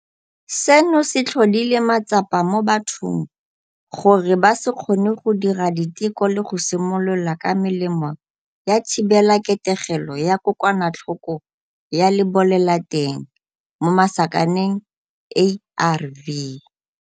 Seno se tlhodile matsapa mo bathong gore ba se kgone go dira diteko le go simolola ka melemo ya thibelaketegelo ya kokwanatlhoko ya lebolelateng, ARV.